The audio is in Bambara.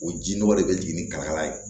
O ji nɔgɔ de bɛ jigin ni kalakala ye